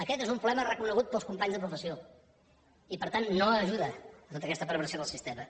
aquest és un problema reconegut pels companys de professió i per tant no ajuda a tota aquesta perversió del sistema